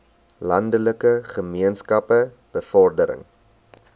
landelike gemeenskappe bevordering